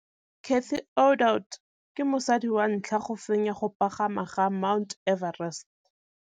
Cathy Odowd ke mosadi wa ntlha wa go fenya go pagama ga Mt Everest.